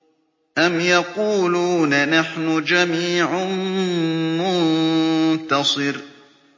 أَمْ يَقُولُونَ نَحْنُ جَمِيعٌ مُّنتَصِرٌ